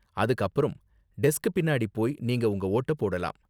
அதுக்கு அப்பறம், டெஸ்க் பின்னாடி போய் நீங்க உங்க வோட்ட போடலாம்.